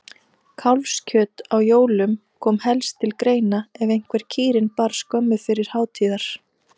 Kálfskjöt á jólum kom helst til greina ef einhver kýrin bar skömmu fyrir hátíðar.